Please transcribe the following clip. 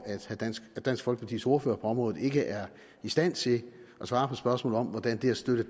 at dansk folkepartis ordfører på området ikke er i stand til at svare på spørgsmål om hvordan det at støtte